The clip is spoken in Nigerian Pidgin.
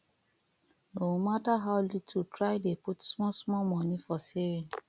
no mata how little try dey put small small moni for saving